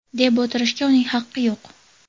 deb o‘tirishga uning haqqi yo‘q.